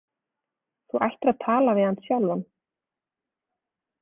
Þú ættir að tala við hann sjálfan.